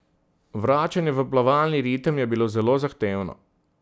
Vračanje v plavalni ritem je bilo zelo zahtevno.